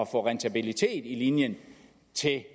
rentabilitet af linjen til